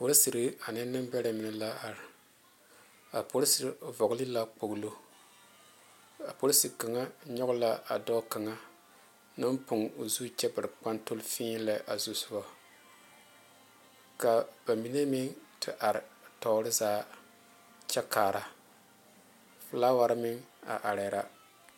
Polesire ane nenbɛre mine la are a polesire vɔgle la kpoŋlo a polesi kaŋa nyoŋ la a dɔɔ kaŋa naŋ poge o zu kyɛ bare kpetole fii lɛ a zusoga kaa ba mine meŋ te are tɔɔre zaa kyɛ kaara filaaware meŋ a are la.